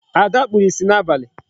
Ada kpuru ìsì n'abali.